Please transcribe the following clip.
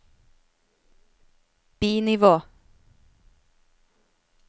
bi-nivå